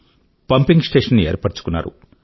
pumping station ఏర్పరుచుకున్నారు